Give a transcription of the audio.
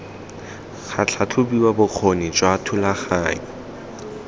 ga tlhatlhobiwa bokgoni jwa thulaganyo